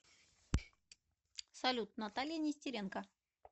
салют наталья нестеренко